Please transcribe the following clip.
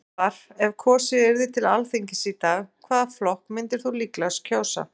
Spurt var, ef kosið yrði til Alþingis í dag, hvaða flokk myndir þú líklegast kjósa?